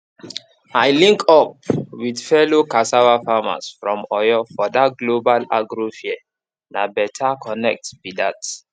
i link up with fellow cassava farmers from oyo for that global agro fair na better connect be that